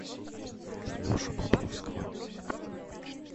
лешу бобровского